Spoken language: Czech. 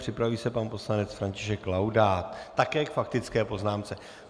Připraví se pan poslanec František Laudát také k faktické poznámce.